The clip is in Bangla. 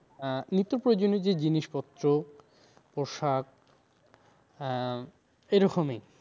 আহ নিত্য প্রয়োজনীয় যে জিনিস পত্র পোশাক আহ এরকমই